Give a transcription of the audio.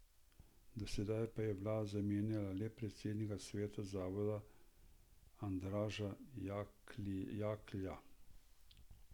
Doslej pa je vlada zamenjala le predsednika sveta zavoda Andraža Jaklja.